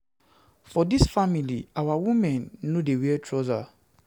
For dis family, our women dem no dey wear trouser.